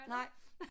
Nej